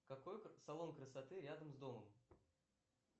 какой салон красоты рядом с домом